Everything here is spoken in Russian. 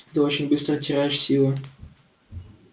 ты очень быстро теряешь силы